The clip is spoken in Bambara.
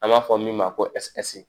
An b'a fɔ min ma ko sppsi